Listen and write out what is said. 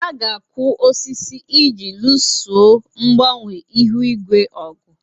A ga-akụ osisi iji luso mgbanwe ihu igwe ọgụ.